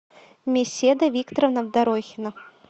меседа викторовна дорохина